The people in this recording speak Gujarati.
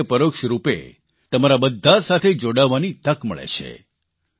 એક રીતે પરોક્ષરૂપે તમારા બધા સાથે જોડાવાની તક મળે છે